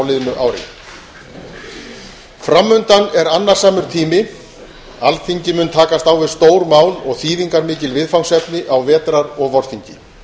liðnu ári fram undan er annasamur tími alþingi mun takast á við stór mál og þýðingarmikil viðfangsefni á vetrar og vorþingi